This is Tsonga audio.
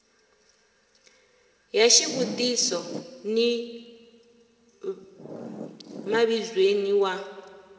ya xivutiso ni mavizweni wa